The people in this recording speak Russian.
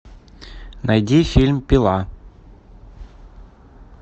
найди фильм пила